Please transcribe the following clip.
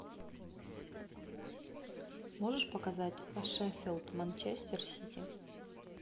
можешь показать шеффилд манчестер сити